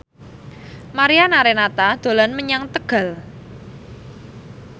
Mariana Renata dolan menyang Tegal